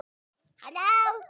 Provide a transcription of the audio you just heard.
En hún reyndi, elsku hróið.